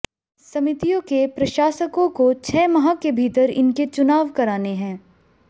समितियों के प्रशासकों को छह माह के भीतर इनके चुनाव कराने हैं